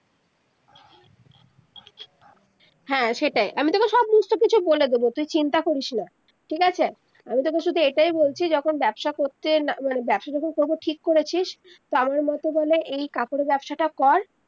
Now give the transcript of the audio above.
হ্যা সেটাই আমি তকে সব বলে দেবো তুই চিন্তা করিস না ঠিক আছে আমি তকে শুধু এটাই বলছি যখন ব্যবসা করতে মানে ব্যবসা যখন করব ঠিক করেছিস মতো করে এই কাপড়ের ব্যবসাটা কর